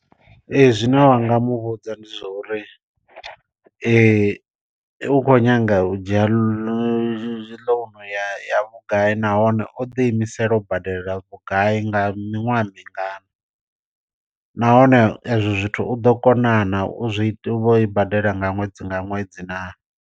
Ee zwine wa nga muvhudza ndi zwa uri u khou nyanga u dzhia lo ḽouno ya vhugai nahone o ḓi imisela u badela vhugai nga miṅwaha mingana. Nahone ezwo zwithu u ḓo kona na u zwi u i badela nga ṅwedzi nga ṅwedzi naa.